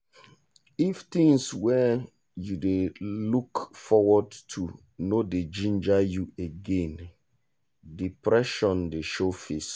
if things wey you dey look forward to no dey ginger you again depression dey show face.